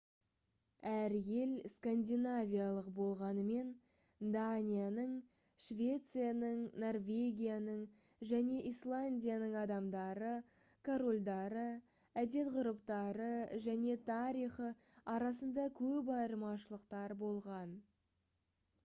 әр ел «скандинавиялық» болғанымен данияның швецияның норвегияның және исландияның адамдары корольдары әдет-ғұрыптары және тарихы арасында көп айырмашылықтар болған